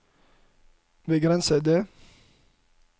begrensede